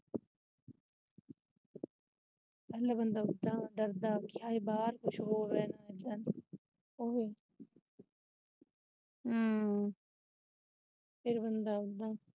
ਪਹਿਲਾਂ ਬੰਦਾ ਡਰਦਾ ਕਿ ਬਾਹਰ ਕੁੱਝ ਹੋਰ ਏ।